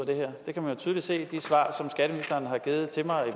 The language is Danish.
det her det kan man tydeligt se af de svar som skatteministeren har givet til mig